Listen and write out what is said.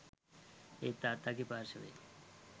ඒත් තාත්තගෙ පාර්ශවයේ